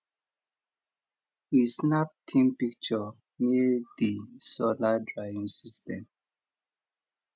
we snap team picture near di solar drying system